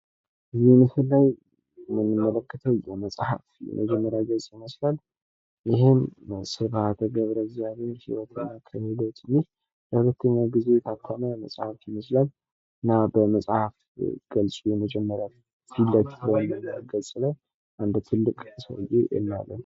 በዚህ ምስላይ የምንመለከተው የመጽሐፍት የመጀመሪያ ገጽ ይመስላል ። ይህም በስብሀት ገብረእግዚአብሔር ይወትና ክህሎት ከሚለው መጽሀፍ ላይ ለሁለተኛ ጊዜ የታተመ መጽሐፍ ይመስላል ። በመጽሐፍት ገጹ ፊለፊት ገጽ ላይ አንድ ትልቅ ሰውዬ እናያለን ።